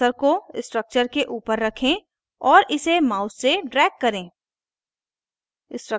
cursor को structure के ऊपर रखें और इसे mouse से drag करें